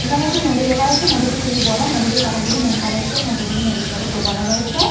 এখানে একটি নদী দেখা যাচ্ছে নদীটি খুবই বড় নদীতে কতগুলি নৌকা রয়েছে নৌকা গুলি নদীর জলে ডোবানো রয়েছে।